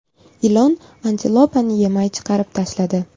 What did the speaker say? Ilon antilopani yemay chiqarib tashladi .